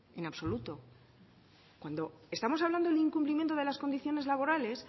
en absoluto cuando estamos hablando del incumplimiento de las condiciones laborales